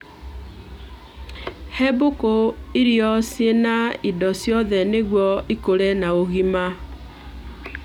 He mbũkũ irio ciĩna indo ciothe nĩguo ikũre na ũgima